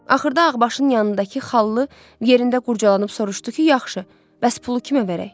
Axırda ağbaşın yanındakı xallı yerində qurcalanıb soruşdu ki, yaxşı, bəs pulu kimə verək?